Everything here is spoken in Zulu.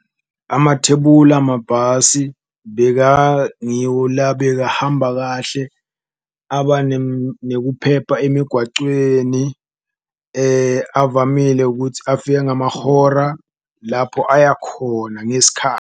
Amathebula amabhasi bekangiwo la bekahamba kahle aba nekuphepha emigwacweni, avamile ukuthi afike ngamahora lapho aya khona .